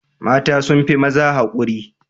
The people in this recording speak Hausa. Mata sun fi maza haƙuri.